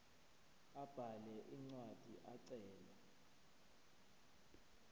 abhale incwadi ecela